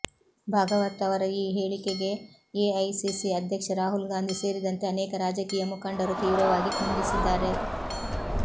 ಭಾಗವತ್ ಅವರ ಈ ಹೇಳಿಕೆಗೆ ಎಐಸಿಸಿ ಅಧ್ಯಕ್ಷ ರಾಹುಲ್ ಗಾಂಧಿ ಸೇರಿದಂತೆ ಅನೇಕ ರಾಜಕೀಯ ಮುಖಂಡರು ತೀವ್ರವಾಗಿ ಖಂಡಿಸಿದ್ದಾರೆ